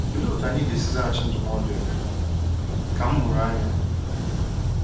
Olee otú anyị ga-esi zaghachi ndụmọdụ Emeka ka “ mụrụ anya”?